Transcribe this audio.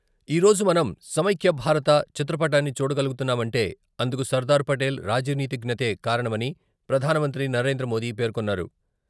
ఈరోజు మనం సమైక్యభారత చిత్రపటాన్ని చూడగలుగుతున్నామంటే అందుకు సర్దార్పటేల్ రాజనీతిజ్ఞతే కారణమని ప్రధానమంత్రి నరేంద్రమోదీ పేర్కొన్నారు.